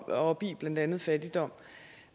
op i blandt andet fattigdom